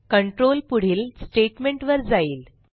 control पुढील स्टेटमेंटवर जाईल